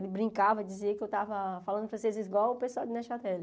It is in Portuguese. Ele brincava, dizia que eu estava falando francês igual o pessoal de Nechateli.